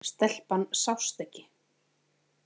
Stelpan sást ekki.